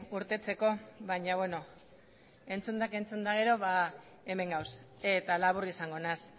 irteteko baina beno entzundak entzun eta gero ba hemen gaude eta labur izango naiz